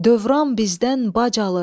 Dövrən bizdən bac alır.